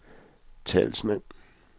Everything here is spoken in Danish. talsmand